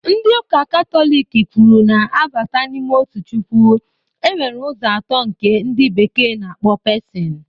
Ndị ụka katọliki kwuru na abata n'ime otu chukwu, e nwere ụzọ atọ nke ndị bekee na-akpọ pesin